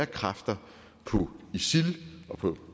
kræfter på isil og på